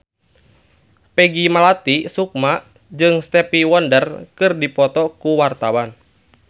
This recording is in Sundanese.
Peggy Melati Sukma jeung Stevie Wonder keur dipoto ku wartawan